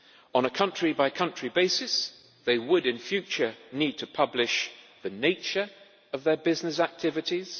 On a country by country basis, they would in future need to publish the nature of their business activities